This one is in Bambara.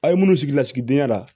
A ye minnu sigi lasigidenya la